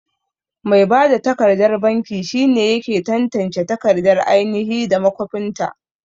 Mai bada takardar banki shine yake tantance takardar ainahi da makwafinta.